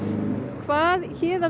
hvað Héðinn